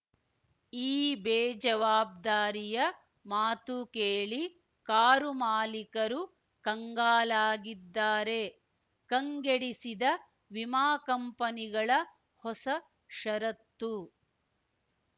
ಈ ಬೇಜವಾಬ್ದಾರಿಯ ಮಾತು ಕೇಳಿ ಕಾರು ಮಾಲಿಕರು ಕಂಗಾಲಾಗಿದ್ದಾರೆ ಕಂಗೆಡಿಸಿದ ವಿಮಾ ಕಂಪನಿಗಳ ಹೊಸ ಷರತ್ತು